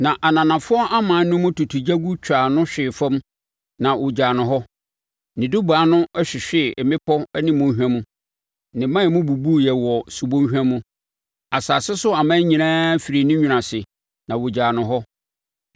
na ananafoɔ aman no mu tutugyagu twaa no hwee fam na ɔgyaa no hɔ. Ne dubaa no hwehwee mmepɔ ne mmɔnhwa mu; ne mman mu bubuiɛ wɔ subɔnhwa mu. Asase so aman nyinaa firii ne nwunu ase, na wɔgyaa no hɔ.